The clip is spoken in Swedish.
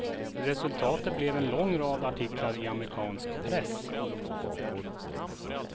Resultatet blev en lång rad artiklar i amerikansk press.